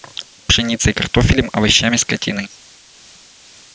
пшеницей картофелем овощами скотиной